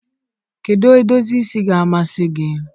kedụ edozi isi ga-amasị gị?